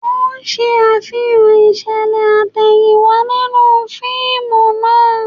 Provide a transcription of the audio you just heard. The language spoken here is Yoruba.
Wọ́n ń ṣe Àfihàn ìṣẹ̀lẹ̀ àtẹ̀yìnwá nínú fíìmù náà